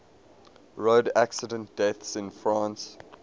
road accident deaths in france